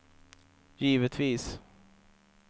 givetvis